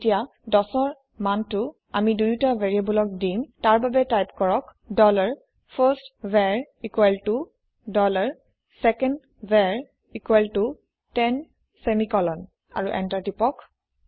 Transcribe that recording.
এতিয়া ১০ ৰ মানটি আমি দুয়োটা ভেৰিয়েবোলক দিম তাৰ বাবে টাইপ কৰক dollar first var equal to dollar second var equal to ten semicolon আৰু এন্টাৰ প্ৰেছ কৰক